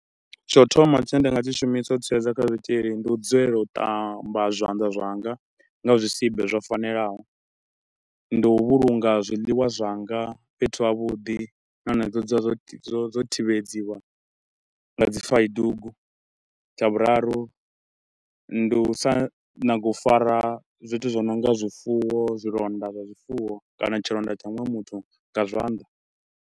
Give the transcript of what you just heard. Tsha u thoma tshine nda nga tshi shumisa u tsireledza kha zwitshili ndi u dzulela u ṱamba zwanḓa zwanga nga zwisibe zwo fanelaho. Ndi u vhulunga zwiḽiwa zwanga fhethu havhuḓi na hone dzo dzula zwo, zwo zwo thivhedziwa nga dzi faidugu. Tsha vhuraru ndi u sa nyaga u fara zwithu zwi no nga zwifuwo, zwilonda zwa zwifuwo kana tshilonda tsha muṅwe muthu nga zwanḓa.